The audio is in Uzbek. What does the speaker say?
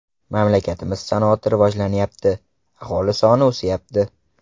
Mamlakatimiz sanoati rivojlanyapti, aholi soni o‘syapti.